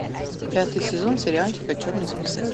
пятый сезон сериальчика черный список